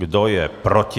Kdo je proti?